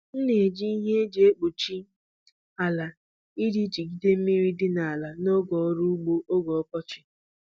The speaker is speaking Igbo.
M na-eji ihe e ji ekpuchi ala iji jigide mmiri dị n'ala n'oge ọrụ ugbo oge ọkọchị.